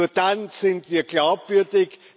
Nur dann sind wir glaubwürdig.